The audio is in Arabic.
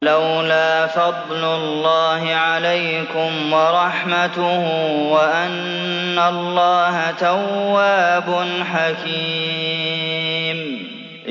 وَلَوْلَا فَضْلُ اللَّهِ عَلَيْكُمْ وَرَحْمَتُهُ وَأَنَّ اللَّهَ تَوَّابٌ حَكِيمٌ